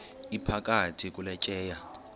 iphakathi kule tyeya